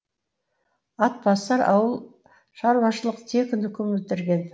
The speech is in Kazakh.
атбасар ауыл шаруашылық техникумын бітірген